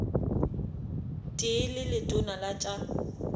tee le letona la tša